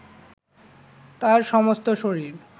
তার সমস্ত শরীর